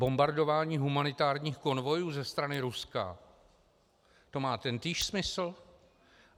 Bombardování humanitárních konvojů ze strany Ruska, to má tentýž smysl?